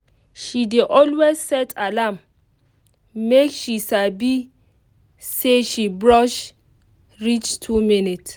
she dey always set alarm make she sabi say she brush reach two minutes